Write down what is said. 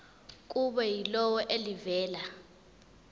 kube yilona elivela